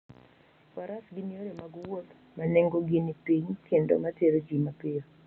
Faras gin yore mag wuoth ma nengogi ni piny kendo ma tero ji mapiyo.